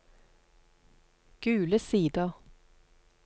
Gule Sider